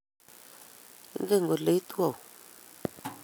Ingen kole itu auyo?